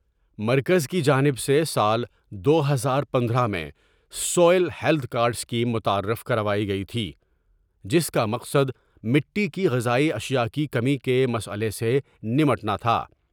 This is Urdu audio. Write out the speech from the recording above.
مرکز کی جانب سے سال دو ہزار پندرہ میں soil health card scheme متعارف کروائی گئی تھی جس کا مقصد مٹی کی غذائی اشیاء کی کمی کے مسئلہ سے نمٹنا تھا ۔